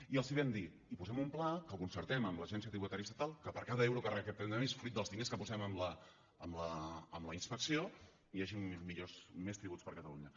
i els vam dir i posem un pla que concertem amb l’agència tributària estatal que per cada euro que recaptem de més fruit dels diners que posem en la inspecció hi hagin més tributs per a catalunya